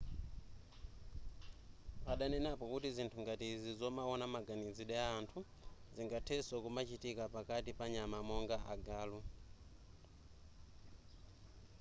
adanenapo kuti zinthu ngati izi zomaona maganizidwe a anthu zingathenso kumachitika pakati panyama monga agalu